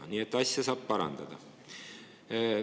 Nii et asja saab parandada.